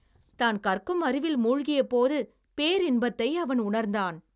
தான் கற்கும் அறிவில் மூழ்கிய போது பேரின்பத்தை அவன் உணர்ந்தான்.